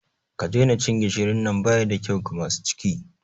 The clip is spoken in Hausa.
Ki daina cin gishirin nan!bayi da kyau ga masu ciki.